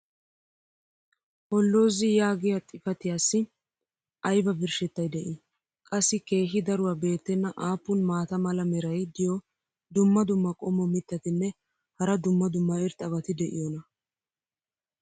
Holozy yaagiya xifattiyaassi aybba birshettay de'ii? qassi keehi daruwa beetenna aappun maata mala meray diyo dumma dumma qommo mitattinne hara dumma dumma irxxabati de'iyoonaa?